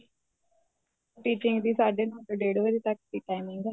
stitching ਦੀ ਸਾਢੇ ਨੋ ਤੋ ਡੇਡ ਵਜੇ ਤੱਕ ਦੀ timing ਏ